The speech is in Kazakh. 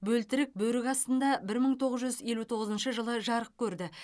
бөлтірік бөрік астында бір мың тоғыз жүз елу тоғызыншы жылы жарық көрді